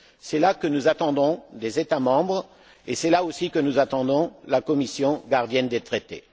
C'est là que nous attendons les États membres et c'est là aussi que nous attendons la Commission, gardienne des traités.